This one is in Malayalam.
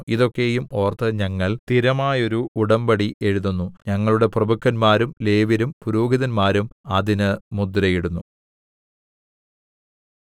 ഇതൊക്കെയും ഓർത്ത് ഞങ്ങൾ സ്ഥിരമായോരു ഉടമ്പടി എഴുതുന്നു ഞങ്ങളുടെ പ്രഭുക്കന്മാരും ലേവ്യരും പുരോഹിതന്മാരും അതിന് മുദ്രയിടുന്നു